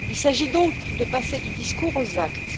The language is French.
Il s'agit donc de passer du discours aux actes.